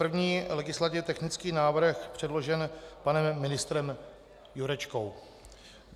První legislativně technický návrh předložen panem ministrem Jurečkou.